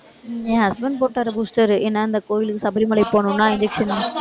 என் husband போட்டாரு booster. ஏன்னா, இந்த கோவிலுக்கு சபரிமலைக்கு போகணும்னா injection